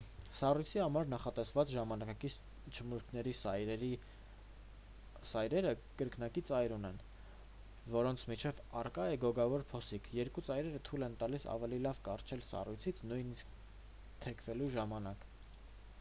սառույցի համար նախատեսված ժամանակակից չմուշկների սայրերը կրկնակի ծայր ունեն որոնց միջև առկա է գոգավոր փոսիկ երկու ծայրերը թույլ են տալիս ավելի լավ կառչել սառույցից նույնիսկ թեքվելու ժամանակ